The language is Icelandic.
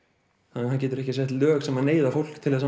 hann getur ekki sett lög sem neyða fólk til að